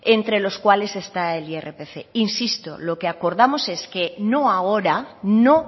entre los cuales está el irpf insisto lo que acordamos es que no ahora no